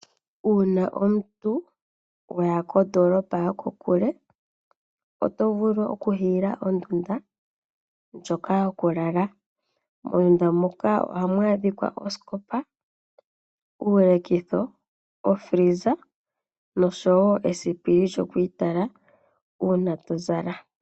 Uuna omuntu waya kondolopa yo kokule oto vulu okuhiila ondunda, ndjoka yo ku lala. Mondunda muka ohamu adhikwa osikopa, uulekitho, ofreeza noshowo esipili lyoku itala uuna to zala.